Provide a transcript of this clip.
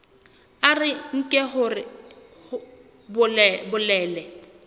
a re nke hore bolelele